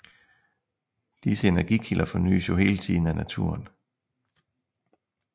Disse energikilder fornyes jo hele tiden af naturen